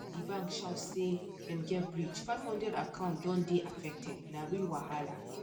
the bank shout say dem get breach 500 account don dey affected na real wahala